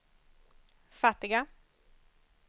fattiga